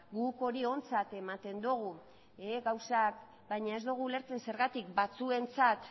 guk hori ontzat ematen dugu baina ez dugu ulertzen zergatik batzuentzat